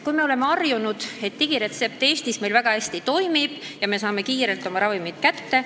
Me oleme harjunud, et digiretsept toimib meil Eestis väga hästi, me saame oma ravimid kiirelt kätte.